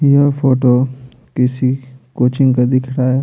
यह फोटो किसी कोचिंग का दिख रहा है।